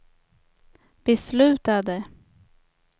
beslutade